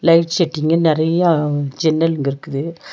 Light செட்டிங்கு நெறயா ஜென்னலுங்க இருக்குது.